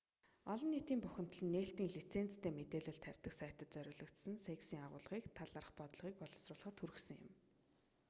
олон нийтийн бухимдал нь нээлттэй лицензтэй мэдээлэл тавьдаг сайтад зориулсан cексийн агуулгын талаарх бодлогыг боловсруулахад хүргэсэн юм